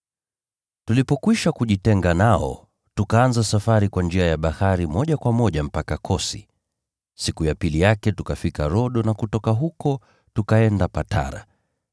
Tulipokwisha kujitenga nao, tukaanza safari kwa njia ya bahari moja kwa moja mpaka Kosi. Siku ya pili yake tukafika Rodo na kutoka huko tukaenda Patara.